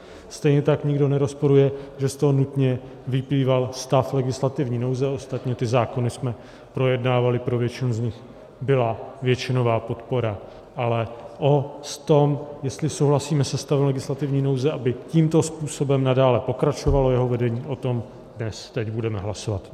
Stejně tak nikdo nerozporuje, že z toho nutně vyplýval stav legislativní nouze, ostatně ty zákony jsme projednávali, pro většinu z nich byla většinová podpora, ale o tom, jestli souhlasíme se stavem legislativní nouze, aby tímto způsobem nadále pokračovalo jeho vedení, o tom dnes, teď, budeme hlasovat.